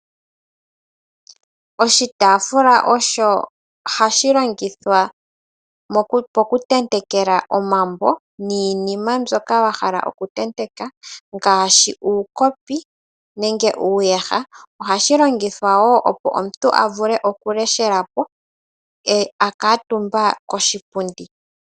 Oshitaafula osho hashi longithwa oku tentekela omambo niinima mbyoka wahala oku tenteka ngaashi uukopi nenge uuyaha. Ohashi longithwa woo opo omuntu avule oku leshelapo akuutumba koshipundi .